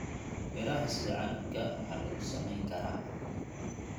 Midhaha miraha sida canabka waa lagu samayn karaa.